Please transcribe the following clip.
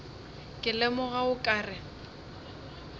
ke lemoga o ka re